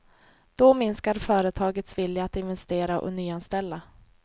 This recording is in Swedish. Då minskar företagens vilja att investera och nyanställa.